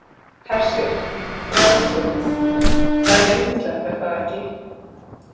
Hersir, frelsið, það er yndislegt er það ekki?